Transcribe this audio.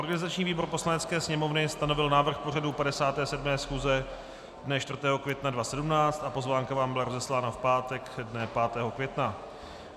Organizační výbor Poslanecké sněmovny stanovil návrh pořadu 57. schůze dne 4. května 2017 a pozvánka vám byla rozeslána v pátek dne 5. května.